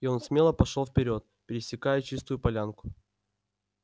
и он смело пошёл вперёд пересекая чистую полянку